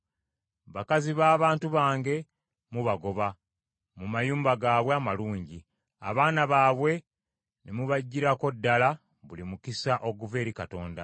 Bakazi b’abantu bange mubagoba mu mayumba gaabwe amalungi, abaana baabwe ne mubaggyirako ddala buli mukisa oguva eri Katonda.